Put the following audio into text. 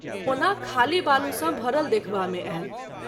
ओना खाली बालू सँ भरल देखबा मे आयल।